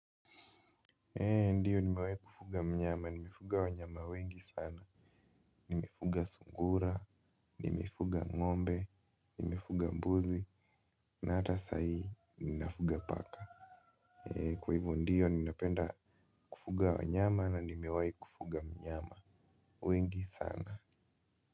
Ndiyo nimewahi kufuga mnyama, nimefuga wanyama wengi sana. Nimefuga sungura, nimefuga ng'ombe, nimefuga mbuzi na hata sai, ninafuga paka. Kwa hivo ndiyo, ninapenda kufuga wanyama na nimewahi kufuga mnyama wengi sana.